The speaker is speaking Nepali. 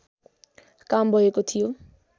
काम भएको थियो